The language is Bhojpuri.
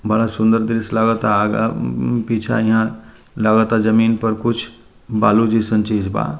बड़ा सुंदर दृश्य लगता अगा पीछे इहाँ लगा ता जमीन पर कुछ बालू जइसन चीज़ बा।